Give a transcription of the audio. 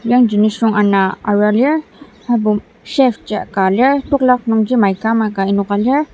yangji nisung ana arua lir aserbo chef jia ka lir tekolak nungji mica ama ka enoka lir.